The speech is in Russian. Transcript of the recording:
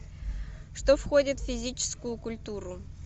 что входит в физическую культуру